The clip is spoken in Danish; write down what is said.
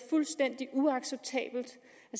fuldstændig uacceptabelt